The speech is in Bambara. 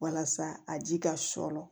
Walasa a ji ka sɔrɔ